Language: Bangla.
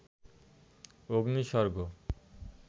অগ্নি স্বর্গ